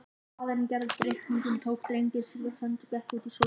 Faðirinn gerði upp reikninginn, tók drenginn sér við hönd og gekk út í sólskinið.